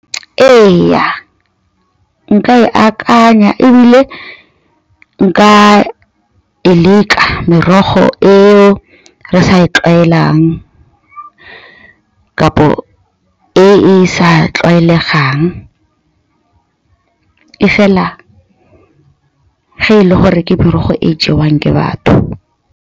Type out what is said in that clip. Ee, nka e akanya ebile nka e leka merogo e re sa e tlwaelang kapa e e sa tlwaelegang. E fela fa e le gore ke merogo e jewang ke batho.